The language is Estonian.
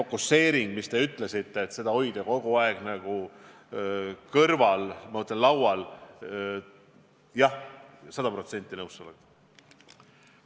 See, mis te ütlesite – et hoida seda kogu aeg laual –, jah, olen sada protsenti sellega nõus.